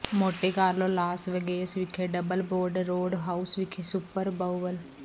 Monte Carlo Las Vegas ਵਿਖੇ double barrel road house ਵਿਖੇ super bowl